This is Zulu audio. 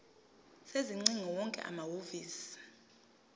sezingcingo wonke amahhovisi